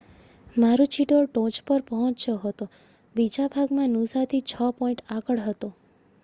મારુચિડોર ટોચ પર પહોચ્યો હતો બીજા ભાગમાં નૂસાથી છ પૉઇન્ટ આગળ હતો